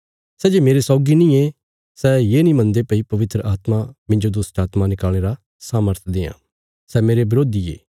सै जे मेरे सौगी नींये सै ये नीं मनदे भई पवित्र आत्मा मिन्जो दुष्टात्मां निकाल़णे रा सामर्थ देआं सै मेरे बरोधी ये